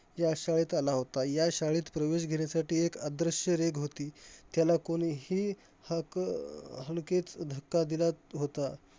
या शाळेत आला होता. या शाळेत प्रवेश घेण्यासाठी एक अदृश्य रेघ होती, त्याला कोणीही हक अं हलकेच धक्का दिला होता.